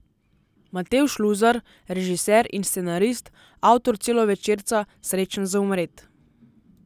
Matevž Luzar, režiser in scenarist, avtor celovečerca Srečen za umret.